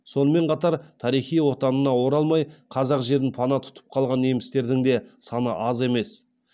сонымен қатар тарихи отанына оралмай қазақ жерін пана тұтып қалған немістердің де саны аз емес